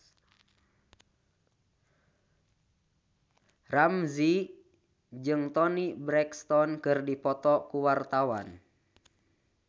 Ramzy jeung Toni Brexton keur dipoto ku wartawan